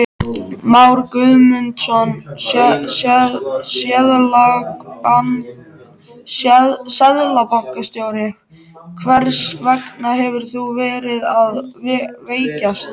Már Guðmundsson, seðlabankastjóri: Hvers vegna hefur hún verið að veikjast?